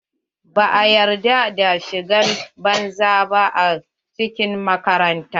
Ba a yarda da shigar banza ba a cikin makaranta.